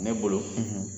Ne bolo